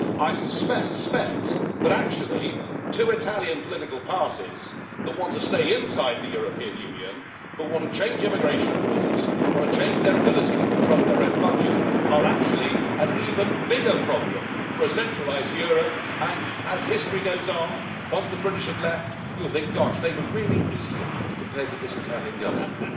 I suspect that actually two Italian political parties that want to stay inside the European Union but want to change immigration rules and their ability to control their own budget are actually an even bigger problem for a centralised Europe, and as history goes on, once the British have left, you'll think, gosh, they were really easy compared to this Italian Government'.